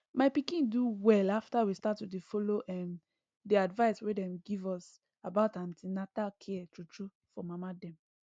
my pikin do well after we start to dey follow the advice wey dem give us about an ten atal care true true for mama dem